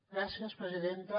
gràcies presidenta